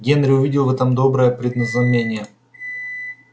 генри увидел в этом доброе предзнамение